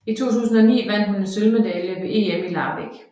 I 2009 vandt hun en sølvmedalje ved EM i Larvik